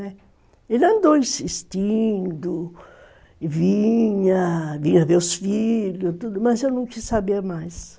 Ele andou insistindo, vinha, vinha ver os filhos, mas eu não quis saber mais.